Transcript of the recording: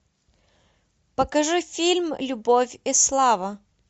покажи фильм любовь и слава